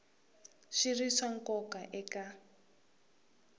swi ri swa nkoka eka